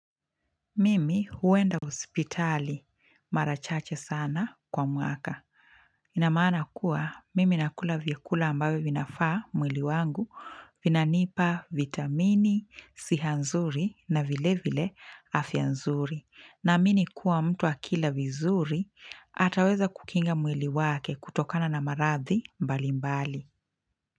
Mimi huenda hospitali marachache sana kwa mwaka. Inamaana kuwa mimi nakula vyakula ambavyo vinafaa mwili wangu vina nipa vitamini, sihanzuri na vile vile afyanzuri. Naamini kuwa mtu akila vizuri ataweza kukinga mwili wake kutokana na maradhi mbali mbali.